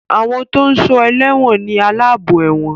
Àwọn tó ń sọ ẹlẹ́wọ̀n ni aláàbò ẹ̀wọ̀n